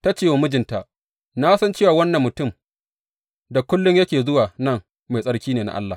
Ta ce wa mijinta, Na san cewa wannan mutum da kullum yake zuwa nan mai tsarki ne na Allah.